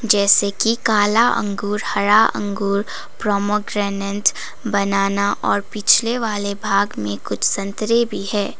जैसे कि काला अंगूर हरा अंगूर प्रोमोग्रेनेट बनाना और पिछले वाले भाग में कुछ संतरे भी है।